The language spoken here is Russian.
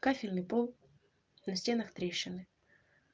кафельный пол на стенах трещины